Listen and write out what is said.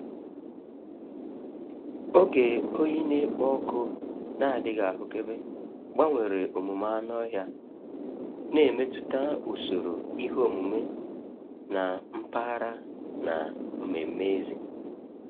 Oge oyi na-ekpo ọkụ na-adịghị ahụkebe gbanwere omume anụ ọhịa, na-emetụta usoro ihe omume na mpaghara na mmeme èzí.